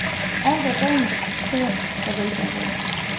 Alt er rent, pænt og velfungerende.